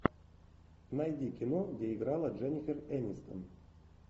найди кино где играла дженнифер энистон